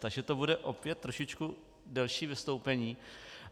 Takže to bude opět trošičku delší vystoupení.